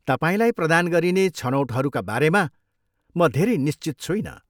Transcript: तपाईँलाई प्रदान गरिने छनौटहरूका बारेमा म धेरै निश्चित छुइनँ।